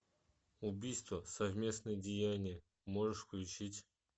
убийство совместное деяние можешь включить